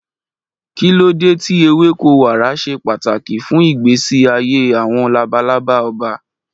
Kí ló dé tí ewéko wàrà ṣe pàtàkì fún ìgbésí ayé àwọn labalaba ọba?